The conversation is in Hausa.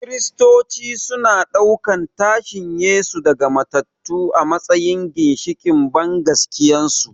Kiristoci suna ɗaukan tashin Yesu daga matattu a matsayin ginshiƙin bangaskiyarsu.